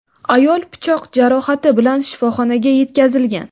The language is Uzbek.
ayol pichoq jarohati bilan shifoxonaga yetkazilgan.